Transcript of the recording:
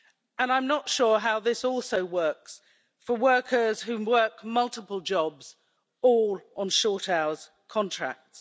and I'm not sure how this also works for workers who work multiple jobs, all on short-hours contracts.